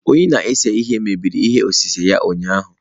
Onye na-ese ihe mebiri ihe osise ya ụnyahụ